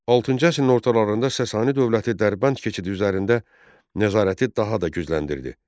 Altıncı əsrin ortalarında Sasani dövləti Dərbənd keçidi üzərində nəzarəti daha da gücləndirdi.